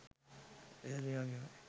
එදත් මේ වගේමයි